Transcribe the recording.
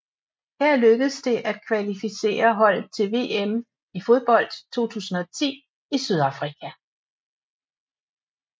Her lykkedes det at kvalificere holdet til VM i fodbold 2010 i Sydafrika